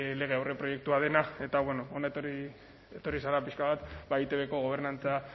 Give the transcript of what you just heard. lege aurreproiektua dena eta bueno hona etorri zara pixka bat eitbko gobernantza